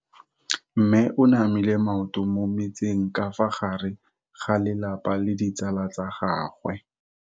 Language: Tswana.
Mme o namile maoto mo mmetseng ka fa gare ga lelapa le ditsala tsa gagwe.